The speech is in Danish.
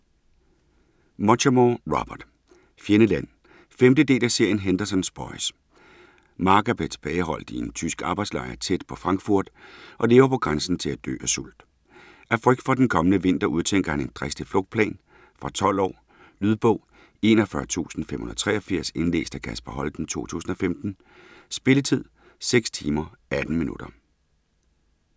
Muchamore, Robert: Fjendeland 5. del af serien Henderson's boys. Marc er blevet tilbageholdt i en tysk arbejdslejr tæt på Frankfurt, og lever på grænsen til at dø af sult. Af frygt for den kommende vinter udtænker han en dristig flugtplan. Fra 12 år. Lydbog 41583 Indlæst af Kasper Holten, 2015. Spilletid: 6 timer, 18 minutter.